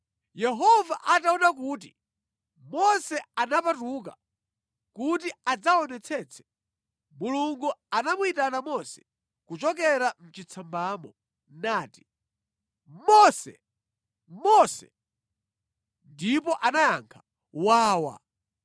Yehova ataona kuti Mose anapatuka kuti adzaonetsetse, Mulungu anamuyitana Mose kuchokera mʼchitsambamo nati, “Mose! Mose!” Ndipo anayankha, “Wawa.”